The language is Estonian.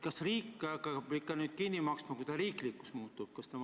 Kas riik peab nüüd kõik kinni maksma, kui see riiklikuks muutub?